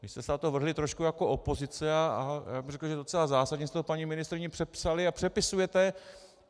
Vy jste se na to vrhli trošku jako opozice a já bych řekl, že docela zásadně jste to paní ministryni přepsali a přepisujete.